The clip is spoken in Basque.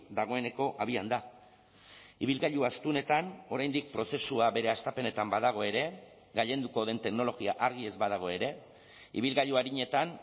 dagoeneko abian da ibilgailu astunetan oraindik prozesua bere hastapenetan badago ere gailenduko den teknologia argi ez badago ere ibilgailu arinetan